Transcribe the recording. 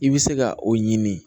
I bɛ se ka o ɲini